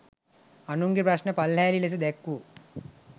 අනුන්ගෙ ප්‍රශ්න පල්හෑලි ලෙස දැක්වූ